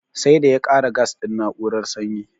Sai da ya kara gas din na'urar sanyi